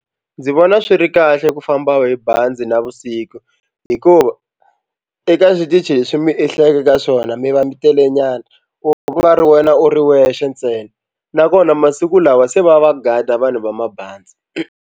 Ndzi vona swi ri kahle ku famba hi bazi navusiku hikuva eka switichi leswi mi ehleketa ka swona mi va mi telenyana ku nga ri wena u ri wexe ntsena nakona masiku lawa se va va gada vanhu va mabazi.